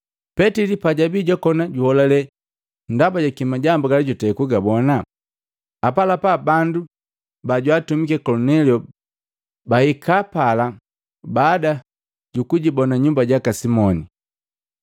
Petili pajabi jwakona juholale ndaba jaki majambu gala jutei kugabona, apalapa bandu bajwaatumiki Kolinelio bahikapala baada jibona nyumba jaka Simoni,